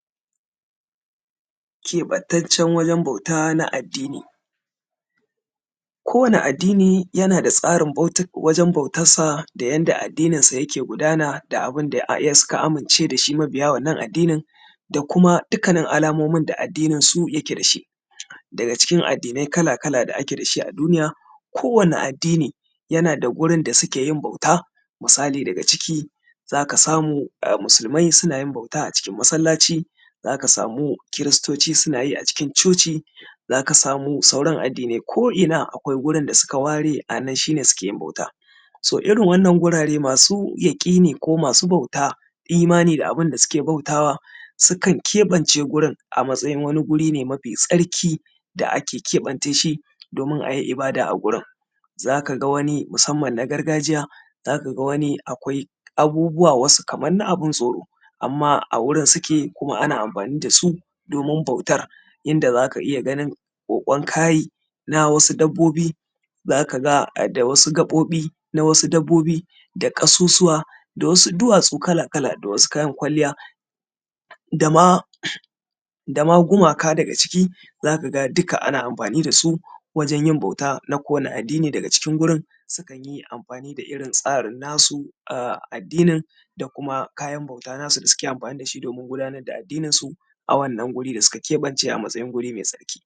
keɓantaccen wajen bauta na addini kowani addini yana da tsarin wajen bautan sa da yadda addinin sa ke gudana da abun da suka amince da shi mabiya wannan addinin da kuma dukkanin alamomin da addinin su ya ke dashi daga cikin addinai kala-kala da ake da shi a duniya kowani addini yana da gurin da suke yin bauta misali daga ciki zaka samu musulmai suna yin bauta a cikin masallaci zaka samu kiristoci suna yi a cikin coci zaka samu sauran addinai ko’ ina akwai gurin da suka ware anan shi ne suke yin bauta so irin wannan gurare masu yaƙini ko masu bauta imani da abun da suke bautawa sukan keɓance gurin a matsayin wani guri ne mafi tsarki da ake keɓance shi domin ayi ibada a gurin zaka ga wani musamman na gargajiya zaka ga wani akwai abubuwa wasu kaman na abun tsoro amman a wurin suke kuma ana amfani dasu domin bautar inda zaka iya ganin ƙoƙon kai na wasu dabbobi zaka ga da wasu gaɓoɓi na wasu dabbobi da ƙasusuwa da wasu duwatsu kala-kala da wasu kayan kwalliya dama dama gumaka daga ciki zaka ga dukka ana amfani dasu wajen yin bauta na kowanni addini daga cikin sukan yi amfani da irin tsarin nasu na addinin da kuma kayan bauta nasu da suke amfani da shi wajen gudanar da addinin su a wannan gurin da suka keɓance a matsayin guri mai